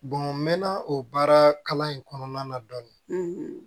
n mɛn na o baara kalan in kɔnɔna na dɔɔnin